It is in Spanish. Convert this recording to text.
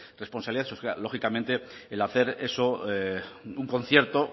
responsabilidades o sea lógicamente el hacer eso un concierto